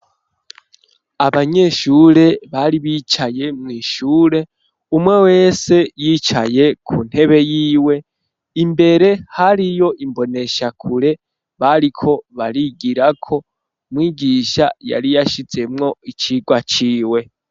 Abanyeshure bari bicaye mw'ishure, umwe wese yicaye ku ntebe yiwe, imbere hariyo imboneshakure bariko barigirako, mwigisha yari yashizemwo icigwa ciwe.